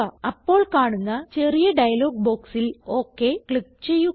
അപ്പോൾ കാണുന്ന ചെറിയ ഡയലോഗ് ബോക്സിൽ ഒക് ക്ലിക്ക് ചെയ്യുക